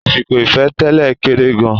Àsìkò ìfẹ́-tẹ́lẹ̀ kéré gan-an.